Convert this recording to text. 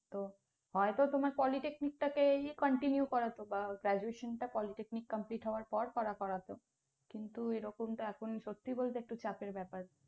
তো হয়তো তোমার polytechnic টা কেই continue করাতো, বা Graduation টা polytechnic complete হওয়ার পর করা করতো। কিন্তু এ রকম তো এখন সত্যি বলতে একটু চাপের ব্যপার।